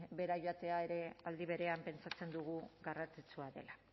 behera joatea ere aldi berean pentsatzen dugu garrantzitsua dela